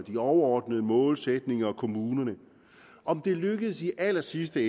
de overordnede målsætninger og kommunernes om det lykkes i allersidste